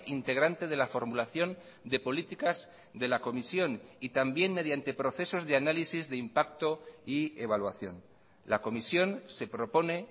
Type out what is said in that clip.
integrante de la formulación de políticas de la comisión y también mediante procesos de análisis de impacto y evaluación la comisión se propone